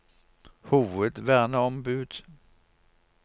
hovedverneombud